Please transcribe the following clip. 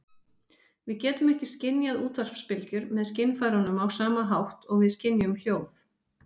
Við getum ekki skynjað útvarpsbylgjur með skynfærunum á sama hátt og við skynjum hljóð.